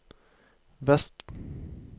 vest